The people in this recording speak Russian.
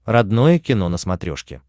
родное кино на смотрешке